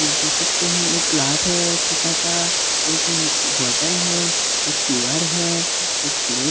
देख सकते है एक ग्लास है शीशा का एक बोतल है एक क्यू_आर है एक प्लेट --